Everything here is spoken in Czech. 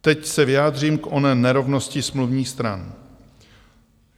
Teď se vyjádřím k oné nerovnosti smluvních stran.